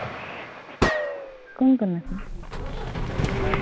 কোন কোন আছে?